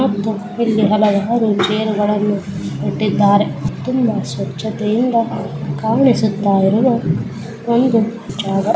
ಮತ್ತು ಇಲ್ಲಿ ಹಲವಾರು ಚೈರ ಗಳನ್ನು ಇಟ್ಟಿದ್ದಾರೆ ತುಂಬಾ ಸ್ವಚ್ಛತೆಯಿಂದ ಕಾಣಿಸುತ್ತಾ ಇರುವ ಒಂದು ಜಾಗ.